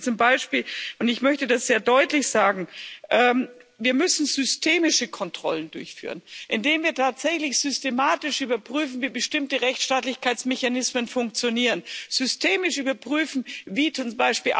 Das, was wir zum Beispiel tun müssen und ich möchte das sehr deutlich sagen ist Wir müssen systemische Kontrollen durchführen, indem wir tatsächlich systematisch überprüfen, wie bestimmte Rechtsstaatlichkeitsmechanismen funktionieren, systemisch überprüfen, wie z.